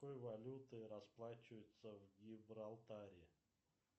какой валютой расплачиваются в гибралтаре